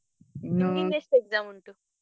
ಎಷ್ಟು exam ಉಂಟು?